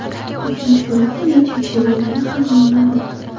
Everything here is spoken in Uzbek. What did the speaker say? Uchinchi guruhda necha kishi bo‘lgani ham noma’lum.